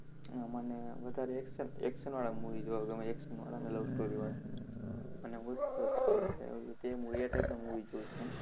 આહ મને વધારે action, action વાળા movie જોવા ગમે. Action વાળા અને love story વાળા અને હું વધુ એટલે તે એ type ના movie જોઉં છું હું.